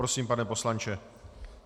Prosím, pane poslanče.